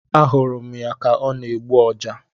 A hụrụ ya ka ọ na-egbu Ọja